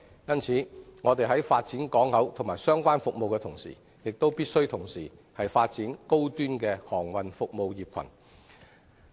因此，我們在發展港口及相關服務的同時，亦必須發展高端航運服務業群。